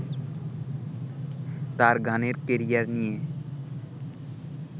তাঁর গানের ক্যারিয়ার নিয়ে